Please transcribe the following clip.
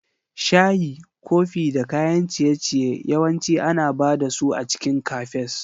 Shayi, kofi da kayan ciye-ciye yawanci ana ba da su a cikin Cafes.